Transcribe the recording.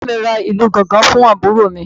Bàbá mi ra ìlù gángan fún àbúrò mi